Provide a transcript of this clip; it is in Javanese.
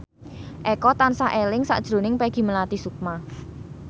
Eko tansah eling sakjroning Peggy Melati Sukma